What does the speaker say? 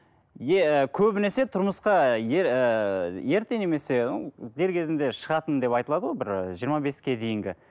ы көбінесе тұрмысқа ыыы ерте немесе дер кезінде шығатын деп айтылады ғой бір жиырма беске дейінгі